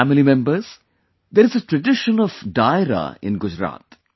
My family members, there is a tradition of Dairo in Gujarat